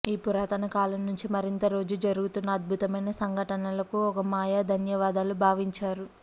ఈ పురాతన కాలం నుంచి మరింత రోజు జరుగుతున్న అద్భుతమైన సంఘటనలకు ఒక మాయా ధన్యవాదాలు భావించారు